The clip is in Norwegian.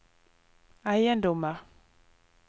eiendommer